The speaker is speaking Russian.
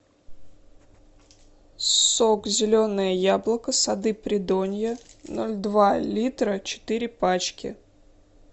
сок зеленое яблоко сады придонья ноль два литра четыре пачки